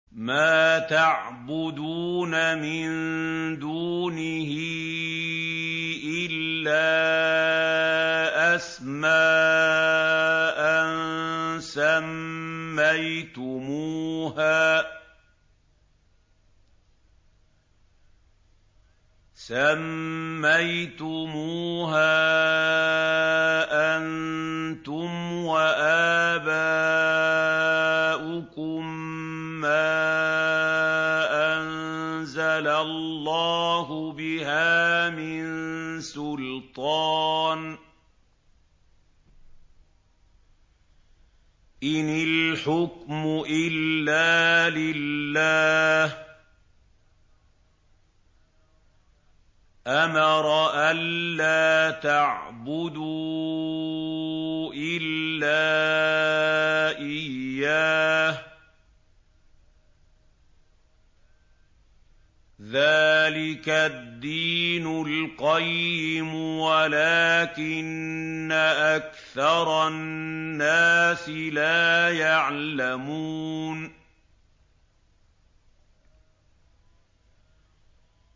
مَا تَعْبُدُونَ مِن دُونِهِ إِلَّا أَسْمَاءً سَمَّيْتُمُوهَا أَنتُمْ وَآبَاؤُكُم مَّا أَنزَلَ اللَّهُ بِهَا مِن سُلْطَانٍ ۚ إِنِ الْحُكْمُ إِلَّا لِلَّهِ ۚ أَمَرَ أَلَّا تَعْبُدُوا إِلَّا إِيَّاهُ ۚ ذَٰلِكَ الدِّينُ الْقَيِّمُ وَلَٰكِنَّ أَكْثَرَ النَّاسِ لَا يَعْلَمُونَ